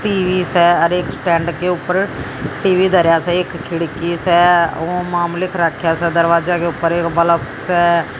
TV से हर एक स्टैंड के ऊपर टी_वी धार्या से एक खिड़की से वह मामूलिक रक्षा का दरवाजा के ऊपर एक बल्ब से--